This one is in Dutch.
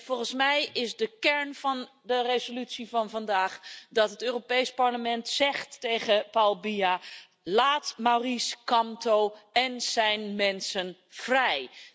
Volgens mij is de kern van de resolutie van vandaag dat het Europees Parlement tegen Paul Biya zegt laat Maurice Kamto en zijn mensen vrij.